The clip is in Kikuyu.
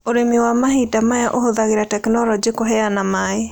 Ũrĩmi wa mahinda maya ũhũthagĩra tekinolonjĩ kũheana maĩ.